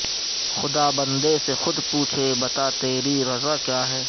خدا بندہ سے خود پوچھے بتا تیری رضا کیا ہے